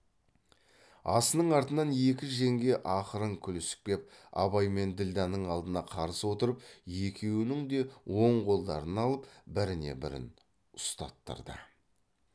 асының артынан екі жеңге ақырын күлісіп кеп абай мен ділдәнің алдына қарсы отырып екеуінің де он қолдарын алып біріне бірін ұстаттырды